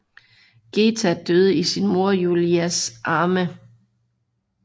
Geta døde i sin mor Julias arme